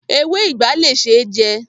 Ewé ìgbá le ṣe jẹ.